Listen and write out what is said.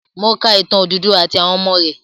Mo ka ìtàn Odùduwà àti àwọn ọmọ rẹ̀.